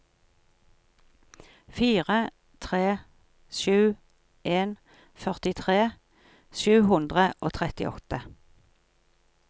fire tre sju en førtitre sju hundre og trettiåtte